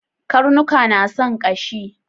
Karnuka na son ƙashi